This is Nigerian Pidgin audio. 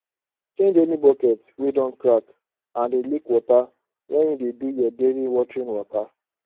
change any bucket wey don crack and dey leak water when you dey do your daily watering waka